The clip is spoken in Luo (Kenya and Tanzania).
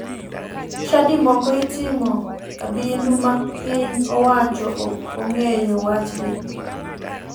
Chadi moko itimo abindu ma piny owacho ok ong'eyo wachgi.